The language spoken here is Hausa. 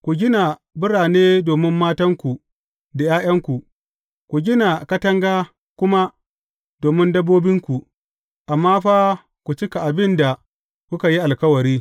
Ku gina birane domin matanku da ’ya’yanku, ku gina katanga kuma domin dabbobinku, amma fa ku cika abin da kuka yi alkawari.